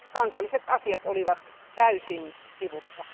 Kansalliset asiat olivat täysin sivussa.